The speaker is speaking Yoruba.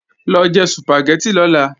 Lọ jẹ Sùpàgẹ́tì lọ́la!